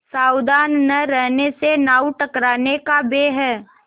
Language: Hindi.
सावधान न रहने से नाव टकराने का भय है